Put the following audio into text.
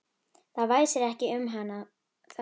Það væsir ekki um hann þarna.